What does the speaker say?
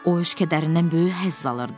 O öz kədərindən böyük həzz alırdı.